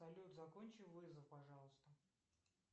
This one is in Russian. салют закончи вызов пожалуйста